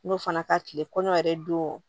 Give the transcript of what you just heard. N'o fana ka tile kɔɲɔ yɛrɛ don